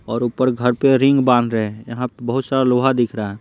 और ऊपर घर पे रिंग बांध रहे हैं यहाँ बहुत सारा लोहा दिख रहा है।